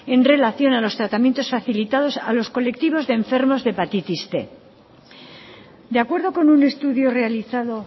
en relación a los tratamientos facilitados a los colectivos de enfermos de hepatitis cien